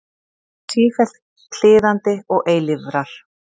Sífellt kliðandi og eilífrar.